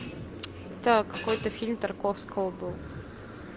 так какой то фильм тарковского был